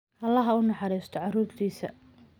Allaha u naxariisto caruurtiisa.